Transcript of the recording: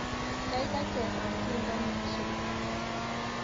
Gaigai chesan tyendo neisubi